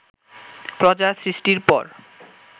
প্রজা সৃষ্টির পর